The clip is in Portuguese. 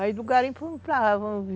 Aí do garimpo fomos para lá.